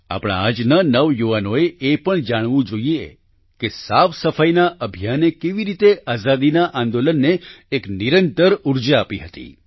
આપણા આજના નવયુવાનોએ એ જરૂર જાણવું જોઈએ કે સાફસફાઈના અભિયાને કેવી રીતે આઝાદીના આંદોલનને એક નિરંતર ઉર્જા આપી હતી